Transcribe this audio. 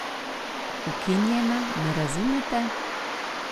Ukinjena, me razumete?